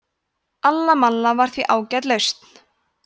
alla malla var því ágæt lausn